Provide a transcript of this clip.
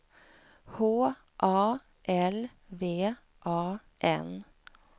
H A L V A N